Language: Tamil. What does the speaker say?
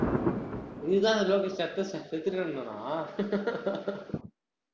இதுதான் அந்த செதுருவான